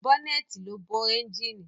Bọ́nẹ̀ẹ̀tì ló bo ẹ́njíìnì.